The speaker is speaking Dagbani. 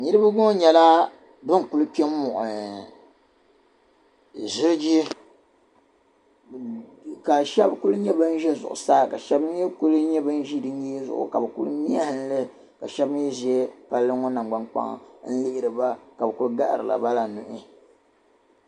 Niriba ŋɔ nyɛla ban kuli kpɛn-muɣi ziliji ka shɛba kuli za zuɣusaa ka sbɛba mii n-kuli nyɛ ban ʒi di nyee zuɣu ka bɛ kuli mehanli ka shɛba mii ʒi nangbankpaŋa n lihiri ba ka bɛ kuli gahiri bala nyuhi